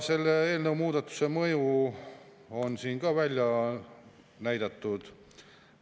Selle eelnõu muudatuse mõju on siin ka ära näidatud.